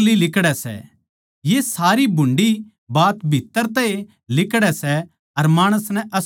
ये सारी भुंडी बात भीत्त्तर तै ए लिकड़ै सै अर माणस नै अशुध्द करै सै